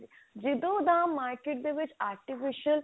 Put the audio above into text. ਜਦੋਂ ਦਾ market ਦੇ ਵਿੱਚ artificial